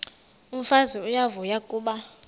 umfazi uyavuya kuba